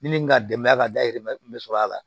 Ni min ka denbaya ka dahirimɛ kun bɛ sɔrɔ a la